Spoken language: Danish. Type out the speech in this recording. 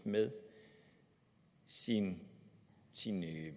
med sine